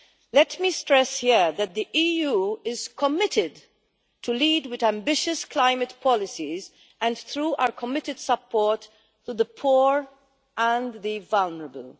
Let me stress here that the EU is committed to leading with ambitious climate policies and through our committed support for the poor and the vulnerable.